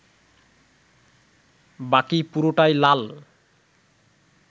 বাকি পুরোটাই লাল